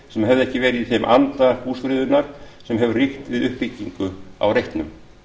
sem hefði ekki verið í þeim anda húsafriðunar sem hefur ríkt við uppbyggingu á reitnum